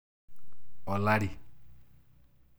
Olari